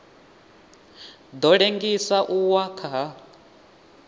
ḓo ḽengisa u wa ha